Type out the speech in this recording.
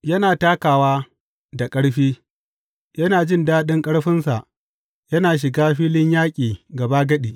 Yana takawa da ƙarfi yana jin daɗin ƙarfinsa yana shiga filin yaƙi gabagadi.